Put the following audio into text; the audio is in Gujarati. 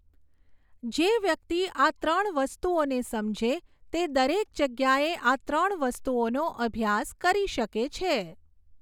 જે વ્યક્તિ આ ત્રણ વસ્તુઓને સમજે, તે દરેક જગ્યાએ આ ત્રણ વસ્તુઓનો અભ્યાસ કરી શકે છે.